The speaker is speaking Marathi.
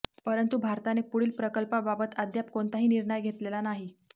परंतु भारताने पुढील प्रकल्पाबाबत अद्याप कोणताही निर्णय घेतलेला नाही